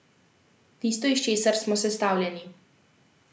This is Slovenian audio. Tisto, iz česar smo sestavljeni.